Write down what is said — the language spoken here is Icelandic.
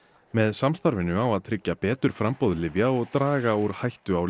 með samstarfinu á að tryggja betur framboð lyfja og draga úr hættu á